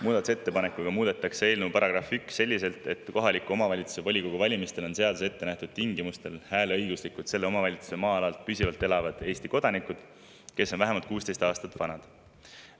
Muudatusettepanekuga muudetakse eelnõu § 1 selliselt, et kohaliku omavalitsuse volikogu valimistel on seaduses ettenähtud tingimustel hääleõiguslikud selle omavalitsuse maa-alal püsivalt elavad Eesti kodanikud, kes on vähemalt 16 aastat vanad.